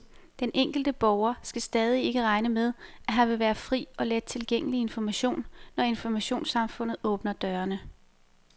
Den enkelte borger skal stadig ikke regne med, at her vil være fri og let tilgængelig information, når informationssamfundet åbner dørene.